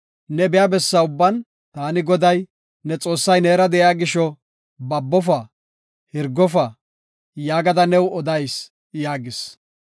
Ne biya bessa ubban taani Goday ne Xoossay neera de7iya gisho, babofa; hirgofa; yaagada new odayis” yaagis.